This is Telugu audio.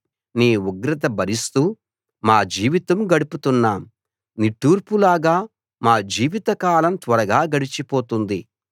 నీ ఉగ్రత భరిస్తూ మా జీవితం గడుపుతున్నాం నిట్టూర్పులాగా మా జీవితకాలం త్వరగా గడిచిపోతుంది